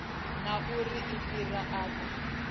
na uri u fhira afho